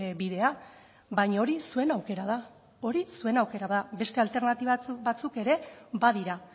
bidea baina hori zuen aukera da hori zuen aukera da beste alternatiba batzuk ere badira